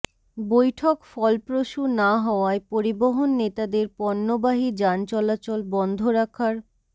বৈঠক ফলপ্রসূ না হওয়ায় পরিবহন নেতাদের পণ্যবাহী যান চলাচল বন্ধ রাখার